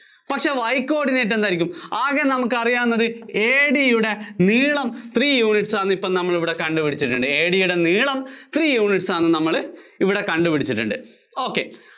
പക്ഷേ Y coordinate എന്തായിരിക്കും? ആകെ നമുക്കറിയാവുന്നത് AD യുടെ നീളം three units ആണെന്ന് ഇപ്പോ നമ്മളിവിടെ കണ്ടുപിടിച്ചിട്ടുണ്ട്. AD യുടെ യുടെ നീളം three units ആണെന്ന് നമ്മള് ഇവിടെ കണ്ടുപിടിച്ചിട്ടുണ്ട്. ok